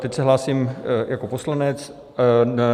Teď se hlásím jako poslanec.